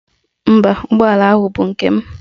Mba, ụgbọala ahụ bụ nke m.